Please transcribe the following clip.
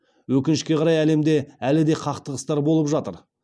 өкінішке қарай әлемде әлі де қақтығыстар болып жатыр